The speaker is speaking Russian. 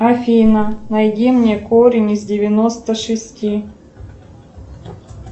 афина найди мне корень из девяносто шести